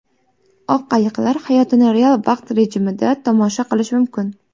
Oq ayiqlar hayotini real vaqt rejimida tomosha qilish mumkin.